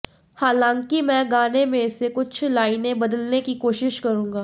हालांकि मैं गाने में से कुछ लाइनें बदलने की कोशिश करूंगा